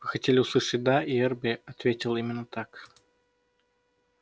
вы хотели услышать да и эрби ответил именно так